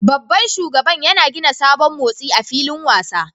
Babban shugaban yana gina sabon motsi a filin wasa